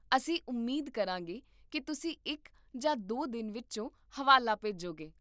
ਅਸੀਂ ਉਮੀਦ ਕਰਾਂਗੇ ਕਿ ਤੁਸੀਂ ਇੱਕ ਜਾਂ ਦੋ ਦਿਨਾਂ ਵਿੱਚ ਹਵਾਲਾ ਭੇਜੋਗੇ